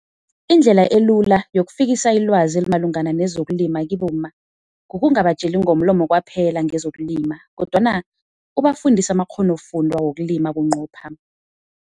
Indlela elula yokufikisa ilwazi elimalungana nezokulima kibomma, kukungabatjeli ngomlomo kwaphela ngezokulima kodwana ubafundise amakghonofundwa wokulima bunqopha.